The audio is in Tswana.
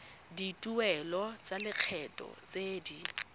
dituelo tsa lekgetho tse di